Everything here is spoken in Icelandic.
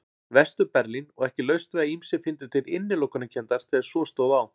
Vestur-Berlín og ekki laust við að ýmsir fyndu til innilokunarkenndar þegar svo stóð á.